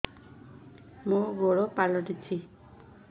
ମୋର ଗୋଡ଼ ପାଲଟିଛି